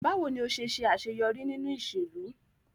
Bawo ni o ṣe ṣaṣeyọri ninu iṣelu?